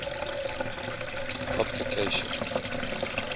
puplication